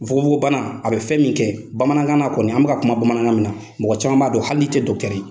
Nfukonfokon bana a bɛ fɛn min kɛ Bamanankan kɔni an bɛ ka kuma Bamanan min na mɔgɔ caman b'a don hali n'i tɛ dɔkitɔri ye.